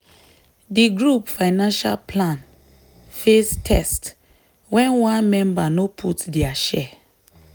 di group financial plan face test when one member no put their share.